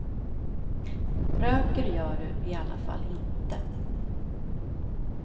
Röker gör du i alla fall inte.